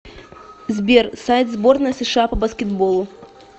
сбер сайт сборная сша по баскетболу